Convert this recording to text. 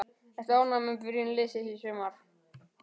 Ertu ánægður með byrjun liðsins í sumar?